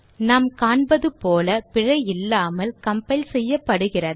நாம் காண்பது போல பிழை இல்லாமல் கம்பைல் செய்யப்படுகிறது